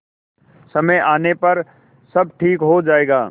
समय आने पर सब ठीक हो जाएगा